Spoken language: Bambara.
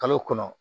Kalo kɔnɔ